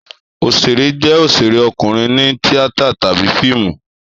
Òṣèré jẹ́ òṣèré ọkùnrin ní tíátà tàbí fíìmù.